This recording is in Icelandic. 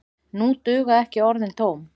Nú duga ekki orðin tóm.